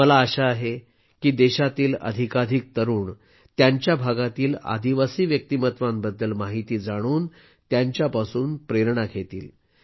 मला आशा आहे की देशातील अधिकाधिक तरूण त्यांच्या भागातील आदिवासी व्यक्तिमत्त्वांबद्दल माहिती जाणून त्यांच्यापासून प्रेरणा घेतील